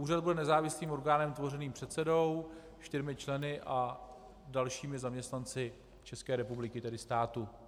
Úřad bude nezávislým orgánem tvořeným předsedou, čtyřmi členy a dalšími zaměstnanci České republiky, tedy státu.